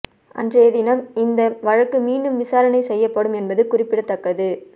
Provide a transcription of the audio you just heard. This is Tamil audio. அன்றைய தினம் இந்த வழக்கு மீண்டும் விசாரணை செய்யப்படும் என்பது குறிப்பிடத்தக்கது